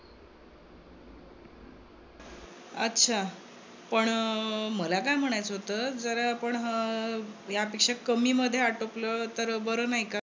अच्छा. पण अं मला काय म्हण्यायचं होत, जर आपण अं हे यापेक्षा कमीमध्ये आटोपलं तर बर नाही का?